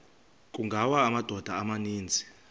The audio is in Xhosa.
kungawa amadoda amaninzi